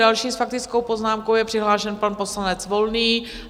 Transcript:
Další s faktickou poznámkou je přihlášen pan poslanec Volný.